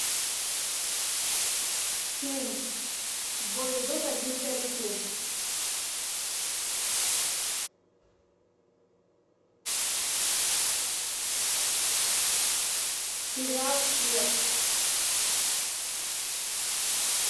фильм в бой идут одни старики сериал след